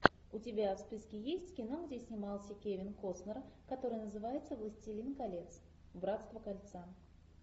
у тебя в списке есть кино где снимался кевин костнер который называется властелин колец братство кольца